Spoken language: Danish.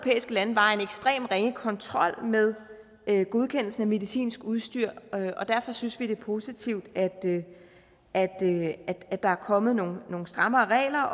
lande var en ekstremt ringe kontrol med godkendelsen af medicinsk udstyr og derfor synes vi det er positivt at der er kommet nogle strammere regler